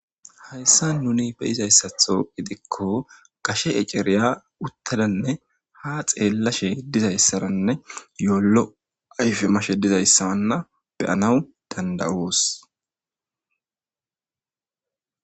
Haysan nuni be'zaysato gidiko gashe ec'eriya utadanne ha xelashe dizaysaranne lo'o ayfe mashe dizaysanne be'anawu danda'os.